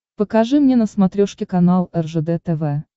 покажи мне на смотрешке канал ржд тв